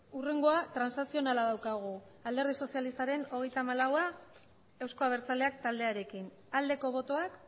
hurrengoa transakzionala daukagu alderdi sozialistaren hogeita hamalaua eusko abertzaleak taldearekin aldeko botoak